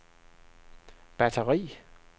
batteri